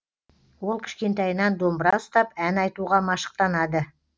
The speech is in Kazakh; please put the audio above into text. ол кішкентайынан домбыра ұстап ән айтуға машықтанады